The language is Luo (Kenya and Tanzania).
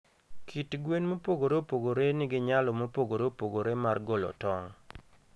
Kit gwen mopogore opogore nigi nyalo mopogore opogore mar golo tong'.